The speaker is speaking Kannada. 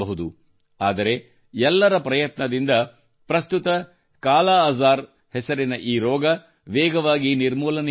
ಆದರೆ ಎಲ್ಲರ ಪ್ರಯತ್ನದಿಂದ ಪ್ರಸ್ತುತ ಕಾಲಾಅಜಾರ್ ಹೆಸರಿನ ಈ ರೋಗ ವೇಗವಾಗಿ ನಿರ್ಮೂಲನೆಯಾಗುತ್ತಿದೆ